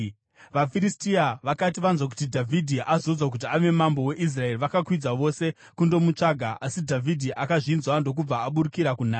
VaFiristia vakati vanzwa kuti Dhavhidhi azodzwa kuti ave mambo weIsraeri, vakakwidza vose kundomutsvaka, asi Dhavhidhi akazvinzwa ndokubva aburukira kunhare.